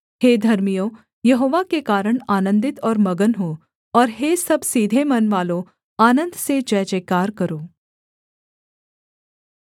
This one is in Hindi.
हे धर्मियों यहोवा के कारण आनन्दित और मगन हो और हे सब सीधे मनवालों आनन्द से जयजयकार करो